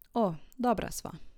O, dobra sva.